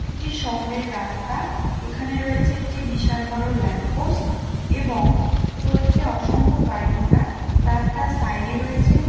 একটি শহরের রাস্তা | এইখানে রয়েছে একটি বিশাল বড় ল্যাম্পপোস্ট এবং চলছে অসংখ্য গাড়িঘোড়া | রাস্তার সাইড এ রয়েছে ----